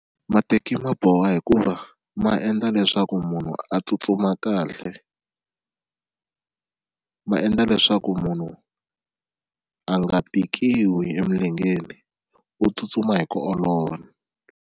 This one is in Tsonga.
Mateki ma boha hikuva ma endla leswaku munhu a tsutsuma kahle ma endla leswaku munhu a nga tikiwi emilengeni u tsutsuma hi ku olova.